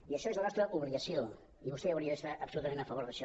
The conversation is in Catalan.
i això és la nostra obligació i vostè hauria d’estar absolutament a favor d’això